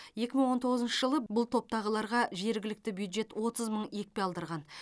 екі мың он тоғызыншы жылы бұл топтағыларға жергілікті бюджет отыз мың екпе алдырған